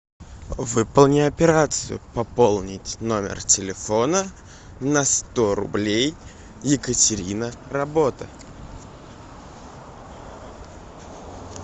выполни операцию пополнить номер телефона на сто рублей екатерина работа